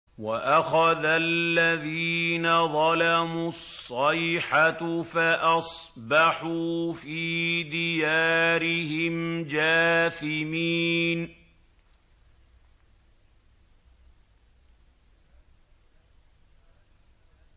وَأَخَذَ الَّذِينَ ظَلَمُوا الصَّيْحَةُ فَأَصْبَحُوا فِي دِيَارِهِمْ جَاثِمِينَ